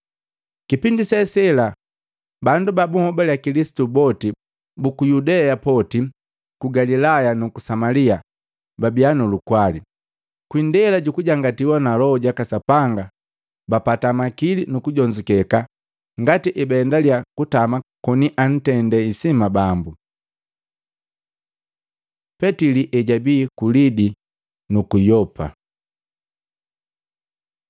Kipindi se sela bandu babuhobale Kilisitu boti buku Yudea poti, ku Galilaya, nuku Samalia babia nulukwali. Kwi indela jujujangatiwa na Loho jaka Sapanga bapata makili nu kujonzukeka ngati ebaendaliya kutama koni antende isima Bambu. Petili ejabii ku Lidi nuku Yopa